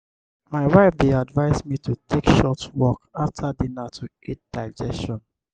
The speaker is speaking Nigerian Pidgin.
my wife dey advise me to take short walk after dinner to aid digestion.